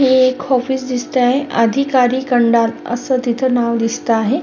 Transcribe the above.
ही एक ऑफिस दिसत आहे असं नाव दिसत आहे.